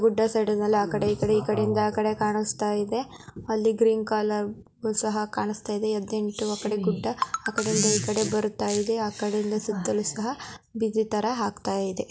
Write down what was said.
Good ಆ ಸೈಡ್ನಲ್ಲಿ ಆ ಕಡೆ ಈ ಕಡೆ ಈ ಕಡೆ ಆ ಕಡೆ ಕಾಣಿಸ್ತಾ ಇದೆ । ಅಲ್ಲಿ ಗ್ರೀನ್ ಕಲರ್ ಸಹ ಕಾಣಿಸ್ತಾ ಇದೆ ।ಎದಿನೆಂಟು ಆ ಕಡೆ ಗುಡ್ಡ ಆ ಕಡೆ ನಿಂತ ಈ ಕಡೆ ಬರುತ್ತಾ ಇದೆ । ಆ ಕಡೆಯಿಂದ ಸುತ್ತಲೂ ಸಹ ಬಿಜಿ ತರಾ ಹಾಕ್ತಾ ಇದೆ ।